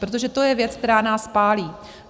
Protože to je věc, která nás pálí.